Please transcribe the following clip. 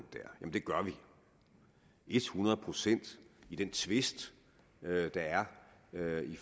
ja det gør vi ethundrede procent i den tvist der er i